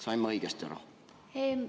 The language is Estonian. Sain ma õigesti aru?